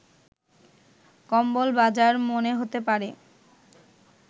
কম্বল বাজার মনে হতে পারে